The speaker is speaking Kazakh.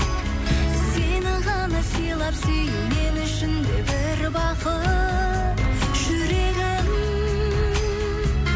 сені ғана сыйлап сүю мен үшін бір бақыт жүрегім